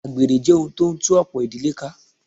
Àgbèrè jẹ́ ohun tí o ń tú ọ̀pọ̀ ìdílé ká.